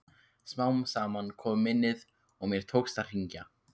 Smám saman kom minnið og mér tókst að hringja.